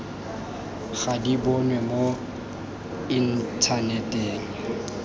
ga di bonwe mo inthaneteng